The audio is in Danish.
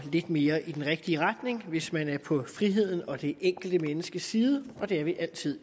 lidt mere i den rigtige retning hvis man er på frihedens og det enkelte menneskes side og det er vi altid